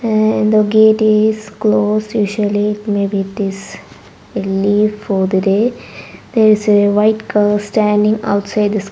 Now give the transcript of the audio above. and the gate is closed usually it may be this leave for the day there is a white standing outside this --